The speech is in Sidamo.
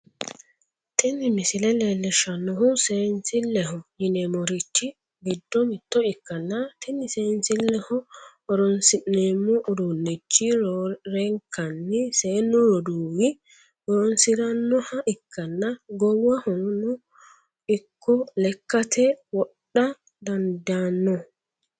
Tini misile leellishshannohu seensilleho yineemmorichi giddo mitto ikkanna, tini seensilleho horonsi'neemmo uduunnichi roorenkanni seennu roduuwi horonsi'rannoha ikkanna, goowaho ikkonlekkate wodha dandaanno.